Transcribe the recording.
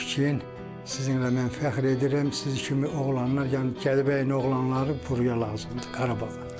Deyib ki, sizinlə mən fəxr edirəm, sizi kimi oğlanlar, yəni Gədəbəyin oğlanları buraya lazımdır Qarabağa.